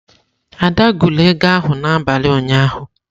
Ada gụrụ ego ahụ n'abalị ụnyaahụ.